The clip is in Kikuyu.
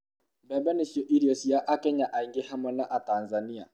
mbembe nicio irio cia akenya aingĩ hamwe na atanzania